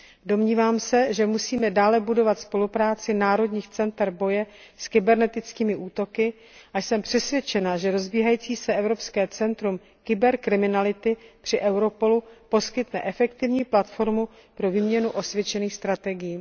Domnívám se, že musíme dále budovat spolupráci národních center boje s kybernetickými útoky, a jsem přesvědčena, že rozbíhající se Evropské centrum pro boj proti kyberkriminalitě při Europolu poskytne efektivní platformu pro výměnu osvědčených strategií.